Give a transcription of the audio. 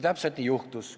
Täpselt nii on juhtunud.